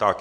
Tak.